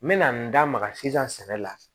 N mɛna n da maga sisan sɛnɛ la